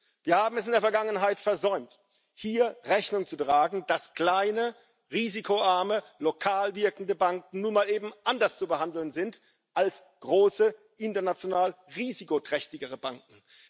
Wir haben es in der Vergangenheit versäumt, dem Rechnung zu tragen, dass kleine, risikoarme, lokal wirkende Banken nun mal eben anders zu behandeln sind als große, international risikoträchtigere Banken.